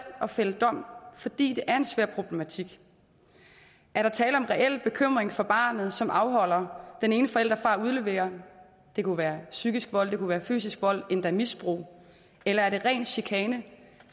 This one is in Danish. at fælde dom fordi det er en svær problematik er der tale om en reel bekymring for barnet som afholder den ene forælder fra at udlevere det kunne være psykisk vold det kunne være fysisk vold endda misbrug eller er det ren chikane